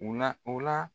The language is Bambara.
U la u la